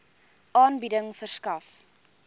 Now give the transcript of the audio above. aanbieding verskaf